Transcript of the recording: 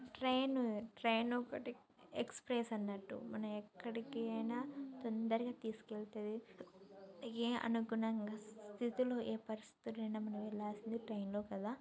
Train train ఒకటి express అన్నట్టు మనం ఎక్కడికైనా తొందరగా తీసుకెతది ఆ అనుకున్న స్థితిలో ఏ పరిస్థితుల్లోనైనా మనం వెళ్లాల్సింది ట్రైన్లో కదా .